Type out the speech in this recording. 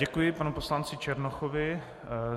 Děkuji panu poslanci Černochovi.